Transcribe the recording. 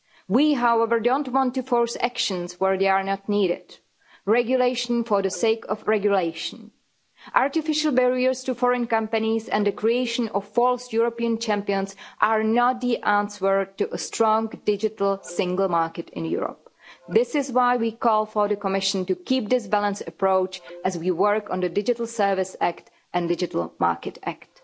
We, however, don't want to force actions where they are not needed regulation for the sake of regulation. Artificial barriers to foreign companies and the creation of false European champions are not the answer to a strong digital single market in Europe. This is why we call on the Commission to keep this balanced approach as we work on the Digital Services Act and the Digital Market Act.